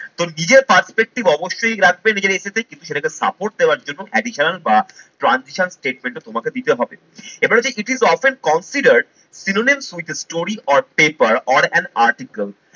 তো নিজের perspective অবশ্যই লাগবে নিজের essay তে কিন্তু সেটাকে support দেওয়ার জন্য additional বা transition statement ও তোমাকে দিতে হবে। এবারে যে it is often consider synonyms with a story or paper or and article